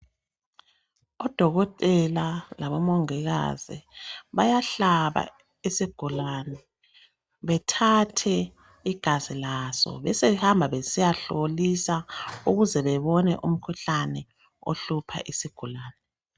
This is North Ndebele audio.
Odokotela labomongikazi bayahlaba isigulani bethathe igazi laso besebehamba besiyahlolisa ukuze bebone umkhuhlane ohlupha isigulani.